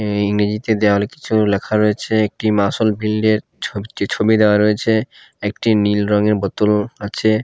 ইংরেজিতে দেয়ালে কিছু লেখা রয়েছে একটি মাসোল বিল্ড -এর ছো ছবি দেওয়া রয়েচে একটি নীল রঙের বোতল আচে।